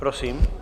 Prosím.